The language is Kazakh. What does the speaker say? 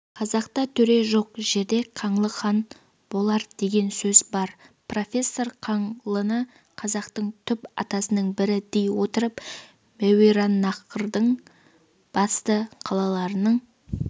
қазақта төре жоқ жерде қаңлы хан болар деген сөз бар профессор қаңлыны қазақтың түп атасының бірі дей отырып мәуераннахрдың басты қалаларының